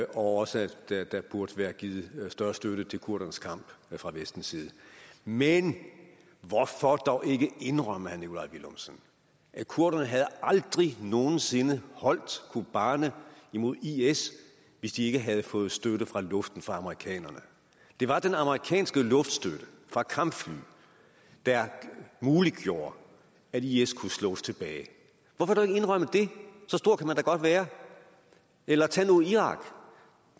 og også at der der burde være givet større støtte til kurdernes kamp fra vestens side men hvorfor dog ikke indrømme herre nikolaj villumsen at kurderne aldrig nogen sinde havde holdt kobane imod is hvis de ikke havde fået støtte fra luften fra amerikanerne det var den amerikanske luftstøtte fra kampfly der muliggjorde at is kunne slås tilbage hvorfor dog ikke indrømme det så stor kan man da godt være eller tag nu irak